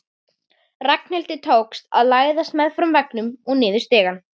Ragnhildi tókst að læðast meðfram veggnum niður stigann.